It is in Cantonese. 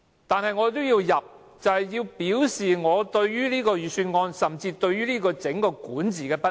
但我也要提出，便是要表示我對這份預算案，甚至是政府整個管治的不滿。